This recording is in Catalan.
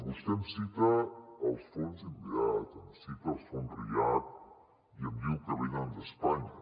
vostè em cita els fons inveat em cita els fons react i em diu que venen d’espanya